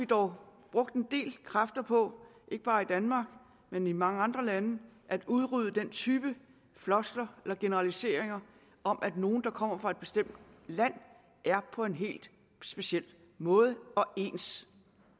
dog brugt en del kræfter på ikke bare i danmark men i mange andre lande at udrydde den type floskler eller generaliseringer om at nogle der kommer fra et bestemt land er på en helt speciel måde og ens